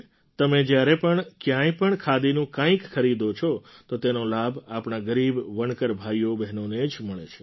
તમે જ્યારે પણ ક્યાંય પણ ખાદીનું કંઈક ખરીદો છો તો તેનો લાભ આપણા ગરીબ વણકર ભાઈઓબહેનોને જ મળે છે